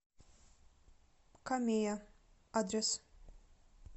камея адрес